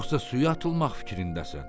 Yoxsa suya atılmaq fikrindəsən?